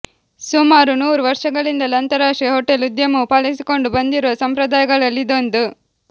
ಸುಮಾರು ನೂರು ವರ್ಷಗಳಿಂದಲೂ ಅಂತಾರಾಷ್ಟ್ರೀಯ ಹೊಟೆಲ್ ಉದ್ಯಮವು ಪಾಲಿಸಿಕೊಂಡು ಬಂದಿರುವ ಸಂಪ್ರದಾಯಗಳಲ್ಲಿ ಇದೊಂದು